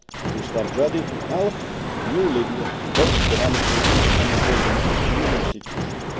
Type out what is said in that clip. We stand ready to help a new Libya, both economically and in building its new institutions.